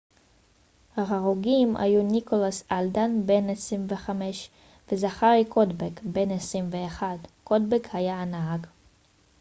ההרוגים היו ניקולס אלדן בן 25 וזכארי קודבק בן 21 קודבק היה הנהג